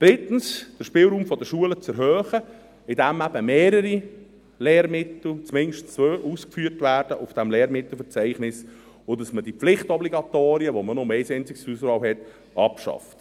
Drittens: den Spielraum der Schulen zu erhöhen, indem in diesem Lehrmittelverzeichnis eben mehrere Lehrmittel – zumindest zwei – aufgeführt werden, und dass man diese Pflichtobligatorien, bei denen man nur ein einziges zur Auswahl hat, abschafft.